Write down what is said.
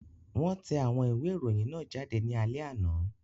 Wọ́n tẹ àwọn ìwé ìròyìn náà jáde ní alẹ́ àná.